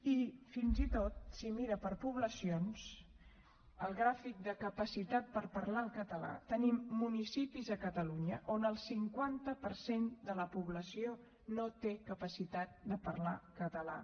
i fins i tot si ho mira per poblacions al gràfic de capacitat per parlar el català tenim municipis a catalunya on el cinquanta per cent de la població no té capacitat de parlar català